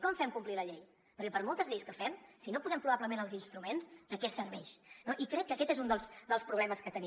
com fem complir la llei perquè per moltes lleis que fem si no posem probablement els instruments de què serveix i crec que aquest és un dels problemes que tenim